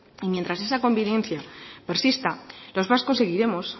y mientras esa conveniencia persista los vascos seguiremos